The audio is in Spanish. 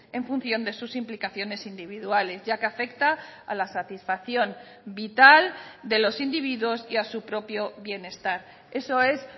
en función de sus implicaciones individuales ya que afecta a la satisfacción vital de los individuos y a su propio bienestar eso es